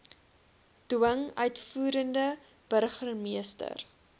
dwing uitvoerende burgermeester